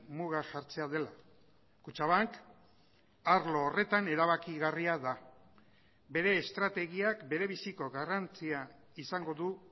muga jartzea dela kutxabank arlo horretan erabakigarria da bere estrategiak berebiziko garrantzia izango du